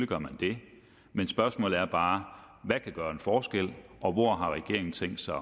gør man det men spørgsmålet er bare hvad kan gøre en forskel og hvor har regeringen tænkt sig